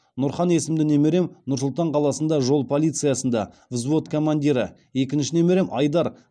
нұрхан есімді немерем нұр сұлтан қаласында жол полициясында взвод командирі екінші немерем айдар